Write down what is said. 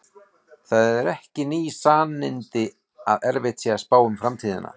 Það eru ekki ný sannindi að erfitt sé að spá um framtíðina.